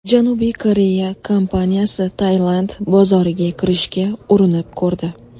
Janubiy Koreya kompaniyasi Tailand bozoriga kirishga urinib ko‘rdi.